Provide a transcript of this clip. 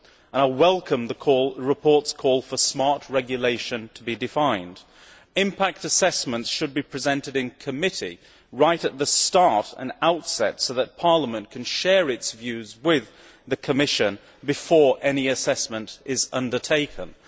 I welcome the report's call for smart regulation to be defined. Impact assessments should be presented in committee right at the outset, so that Parliament can share its views with the Commission before any assessment is undertaken.